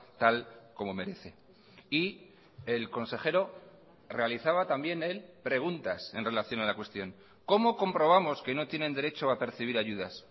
tal como merece y el consejero realizaba también él preguntas en relación a la cuestión cómo comprobamos que no tienen derecho a percibir ayudas